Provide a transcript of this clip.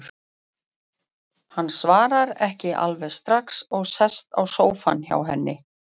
Hann svarar ekki alveg strax og sest á sófann hjá henni.